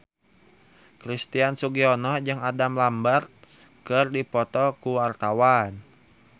Christian Sugiono jeung Adam Lambert keur dipoto ku wartawan